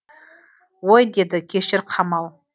ой деді кешір қамал